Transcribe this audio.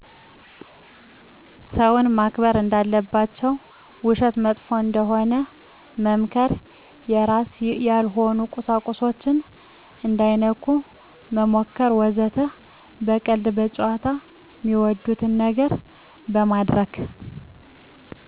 ሰውን ማክበር እንዳለባቸው ውሸት መጥፎ እንደሆነ መምከር የራስ ያልሆኑ ቁሳቁሶችን እንዳይነኩ መምከር ወዘተ። በቀልድ፣ በጨዋታ፣ ሚወዱትን ነገር በማድርግ